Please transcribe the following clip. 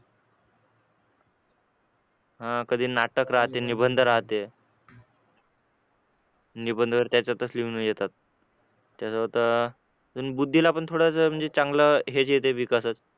हा कधी नाटक राहते निबंध राहते निबंध पण त्याच्यातच लिहून येतात तेच आता बुद्धीला पण चांगलं थोडसं म्हणजे चांगलं हे ते विकासच